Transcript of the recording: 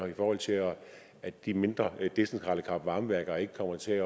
i forhold til at de mindre decentrale kraft varme værker ikke kommer til